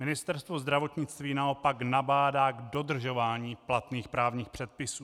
Ministerstvo zdravotnictví naopak nabádá k dodržování platných právních předpisů.